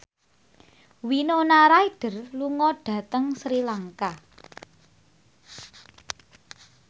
Winona Ryder lunga dhateng Sri Lanka